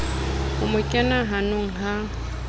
o mo kena hanong ha